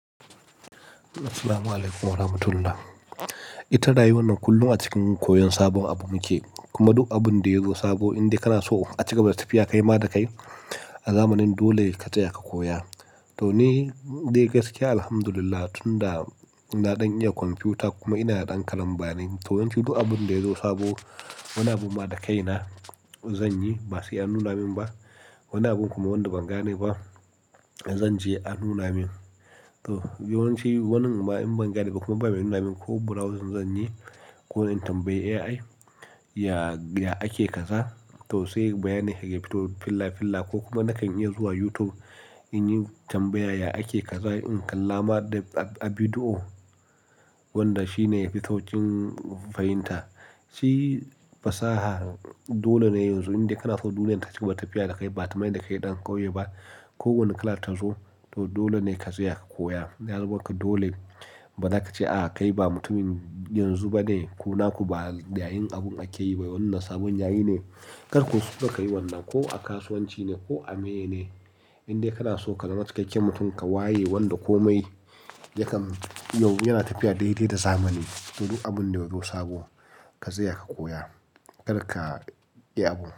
Assalamualaikum warahmatullahi. Ita rayuwar nan kullum a cikin koyon sabon abu muke, kuma duk abun da yazo sabo indai kana so a cigaba da tafiya kai ma da kai, a zamanin dole ka tsaya ka koya. To ni dai gaskiya alhamdulillah tunda ina ɗan iya kwamfuta kuma ina ɗan karambanin. To yanzu duk abin da yazo sabo, wani abu ma da kai na zanyi basai annuna min ba. Wani abun kuma wadda ban gane ba, zanje a nuna min to yawanci wannan in ban gane ba kuma ba mu nuna min ko browsing zanyi ko in tambayi AI, ya, ya ake kaza. To sai bayanin ya fito filla filla ko kuma nakan iya zuwa YouTube, in yi tambaya ya ake kaza in kalla ma a bidiyo wanda shine yafi sauƙin fahimta. Shi fasaha dole ne yanzu indai kana so duniyar ta cigaba tafiya da kai ba kamar yadda kai ɗan ƙauye ba. Ko wani kala ta zo to dole ne ka tsaya ka koya. Ya zama maka dole ba zaka ce a'a kai ba mutumin yanzu bane ko naku ba yayin abun ake yi ba. Wannan sabon yayi ne. Karka kuskura kayi wannan, ko a kasuwanci ne ko a meye ne. Indai kana so ka zama cikakken mutum ka waye wanda komai yakan yau yana tafiya daidai da zamani. Duk abun da yazo sabo, ka tsaya ka koya. Kar ka iya abu.